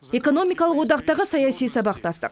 экономикалық одақтағы саяси сабақтастық